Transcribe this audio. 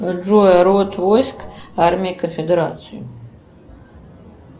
джой род войск армия конфедерации